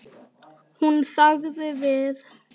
Hún þagði við.